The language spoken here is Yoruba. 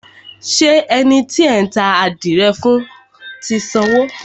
Ṣé ẹni tí ẹ ta àdìrẹ fún ti sanwó?